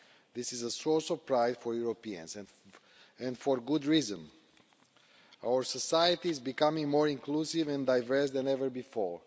This is a source of pride for Europeans, and for good reason our society is becoming more inclusive and diverse than ever before.